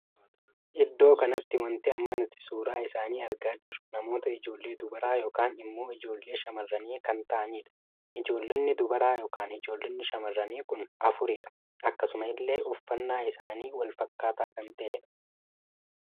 Iddoo kanatti wanti amma nuti suuraa isaanii argaa jirru namoota ijoollee dubaraa ykn immoo ijoollee shamarranii kan taa'aniidha. ijoolloonni dubaraa ykn ijoolloonni shamarranii kun afuridha. akkasuma illee uffannaa isaanii wal fakkaataa kan tahedha